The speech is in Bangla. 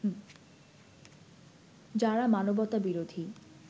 যারা মানবতা বিরোধী